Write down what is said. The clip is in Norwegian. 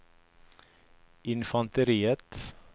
infanteriet